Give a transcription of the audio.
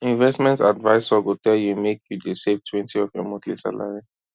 investment advisor go tell you make you dey savetwentyof your monthly salary